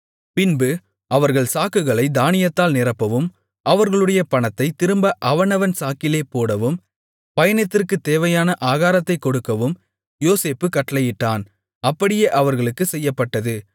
பின்பு அவர்கள் சாக்குகளைத் தானியத்தால் நிரப்பவும் அவர்களுடைய பணத்தைத் திரும்ப அவனவன் சாக்கிலே போடவும் பயணத்திற்குத் தேவையான ஆகாரத்தைக் கொடுக்கவும் யோசேப்பு கட்டளையிட்டான் அப்படியே அவர்களுக்குச் செய்யப்பட்டது